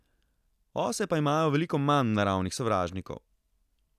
Ose pa imajo veliko manj naravnih sovražnikov.